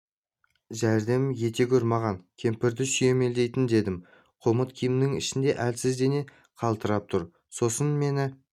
жәрдем ете гөр маған кемпірді сүйемелдейін дедім қомыт киімінің ішінде әлсіз дене қалтырап тұр сосын мені